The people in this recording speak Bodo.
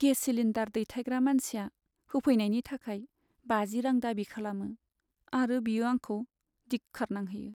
गेस सिलिन्डार दैथायग्रा मानसिया होफैनायनि थाखाय बाजि रां दाबि खालामो आरो बियो आंखौ दिख्खार नांहोयो!